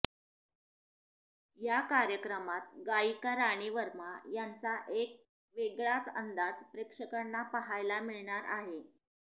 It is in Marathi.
या कार्यक्रमात गायिका राणी वर्मा यांचा एक वेगळाच अंदाज प्रेक्षकांना पाहायला मिळणार आहे